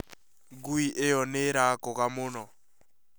Ngui ĩo nĩ nĩrakũga mũno